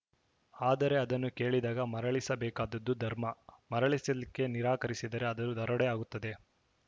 ಆದರೆ ಅದನ್ನು ಕೇಳಿದಾಗ ಮರಳಿಸಬೇಕಾದುದು ಧರ್ಮ ಮರಳಿಸಲಿಕ್ಕೆ ನಿರಾಕರಿಸಿದರೆ ಅದು ದರೋಡೆ ಆಗುತ್ತದೆ